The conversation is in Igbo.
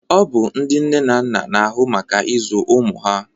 Ọ bụ ndị nne na nna na-ahụ maka ịzụ ụmụ ha